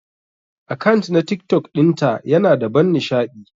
Akant na TikTok dinta Yana da ban nishadi.